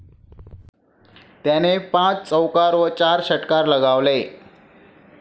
त्याने पाच चौकार व चार षटकार लगावले.